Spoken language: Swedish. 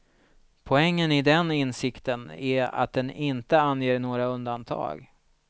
Poängen i den insikten är att den inte anger några undantag.